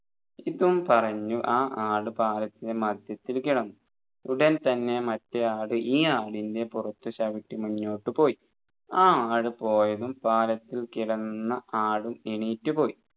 ഇതും പറഞ്ഞു ആ ആട് പാലത്തിൻെറ മധ്യത്തിൽ കിടന്നു ഉടൻ തന്നെ മറ്റേ ആട് ഈ ആടിൻെറ പുറത്ത് ചവിട്ടി മുന്നോട്ട് പോയി